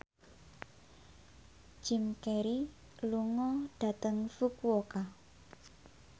Jim Carey lunga dhateng Fukuoka